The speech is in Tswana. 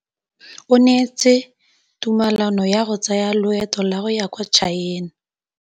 O neetswe tumalanô ya go tsaya loetô la go ya kwa China.